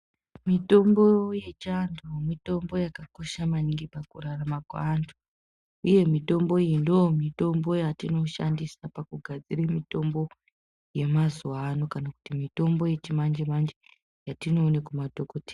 Mitombo yechiantu mitombo yakakosha maningi mukurarama kweantu. Uye mitombo iyi ndoomitombo yatinoshandisa pakugadzire mitombo yemazuva ano kana kuti mitombo yechimanje-manje yetinoone kumadhadokodheya.